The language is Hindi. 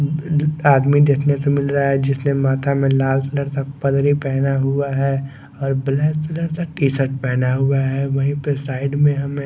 आदमी देखने को मिल रहा है जिसने माथा में लाल कलर का पगड़ी पहना हुआ है और ब्लैक कलर का टीसर्ट पहना हुआ है वाही पे साइड में हमे--